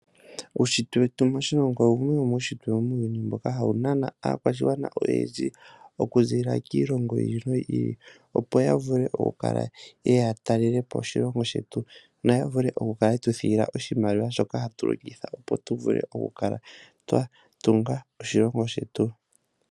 Uunshitwe wetu moshilongo owo wumwe womuunshitwe muuyuni mboka hawu nana aakwashigwana oyendji, oku ziilila miilongo yi ili noyi ili. Opo ya vule oku kala yeye ya talelepo oshilongo shetu, noya vule, oku kala yetu thigila oshimaliwa shoka hatu longitha, opo tu vule oku kala twa tunga oshilongo shetu.